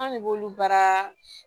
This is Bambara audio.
An ne b'olu baara